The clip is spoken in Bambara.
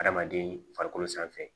Hadamaden farikolo sanfɛ